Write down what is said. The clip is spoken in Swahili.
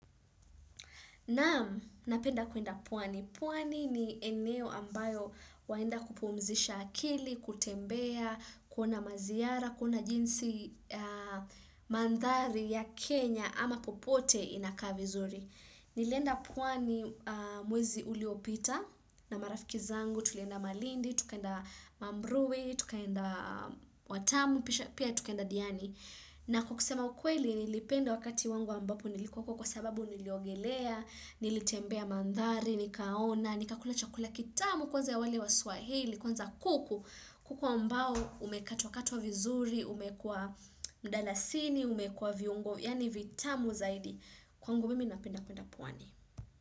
Naam, napenda kwenda pwani. Pwani ni eneo ambalo waenda kupumzisha akili, kutembea, kuona maziyara, kuna jinsi mandhari ya Kenya ama popote inakaa vizuri. Nilienda pwani mwezi uliopita na marafiki zangu, tulenda malindi, tukenda mamruwi, tukenda watamu, pia tukenda diani. Na kwa kusema ukweli nilipenda wakati wangu ambapo nilikuwepo huko sababu niliogelea, nilitembea mandhari, nikaona, nikakula chakula kitamu kwanza ya wale wa swahili, kwanza kuku, kuku ambao umekatwakatwa vizuri, umewekwa mdalasini, umewekwa viungo, yaani vitamu zaidi. Kwangu mimi napenda kwenda pwani.